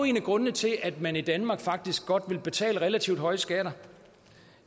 en af grundene til at man i danmark faktisk godt vil betale relativt høje skatter